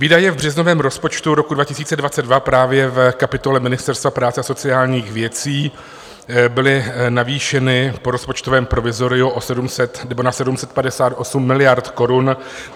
Výdaje v březnovém rozpočtu roku 2022 právě v kapitole Ministerstva práce a sociálních věcí byly navýšeny po rozpočtovém provizoriu na 758 miliard korun.